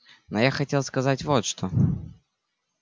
но я хотел сказать вот что